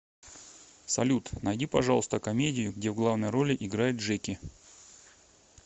салют найди пожалуйста комедию где в главной роли играет джеки